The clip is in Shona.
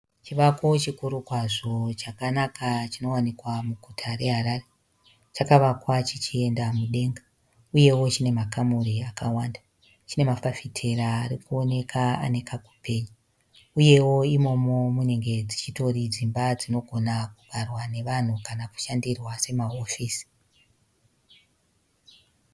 Chivako chikuru kwazvo chakanaka chinowanikwa muguta reHarare. Chakavakwa chichienda mudenga uyewo chine makamuri akawanda. Chine mafafitera ari kuonekwa ane kakupenya, uyewo imomo munenge dzichitori dzimba dzinogona kugarwa navanhu kana kushandirwa samahofisi.